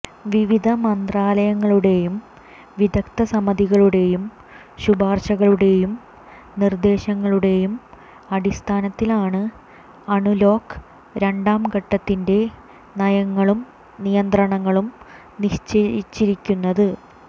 വിവിധ മന്ത്രാലയങ്ങളുടേയും വിദഗ്ദ്ധസമിതികളുടേയും ശുപാര്ശകളുടേയും നിര്ദേശങ്ങളുടേയും അടിസ്ഥാനത്തിലാണ് അണ്ലോക്ക് രണ്ടാം ഘട്ടത്തിന്റെ നയങ്ങളും നിയന്ത്രണങ്ങളും നിശ്ചയിച്ചിരിക്കുന്നത്